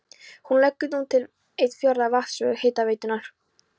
Hún leggur nú til um einn fjórða af vatnsþörf hitaveitunnar.